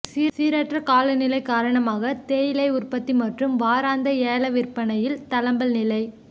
சீரற்ற காலநிலை காரணமாக தேயிலை உற்பத்தி மற்றும் வாராந்த ஏலவிற்பனையில் தளம்பல் நிலை